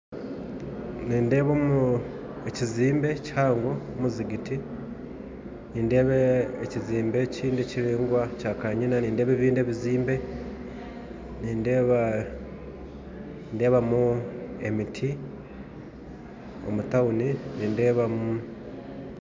Nindeeba ekyombeko kihango ekyomuzigiti, nindeeba ekyombeko ekindi ekiringwa kya kanyiina, nindeeba ebindi ebyombeko nindeebamu emiti omutawuni nindeebamu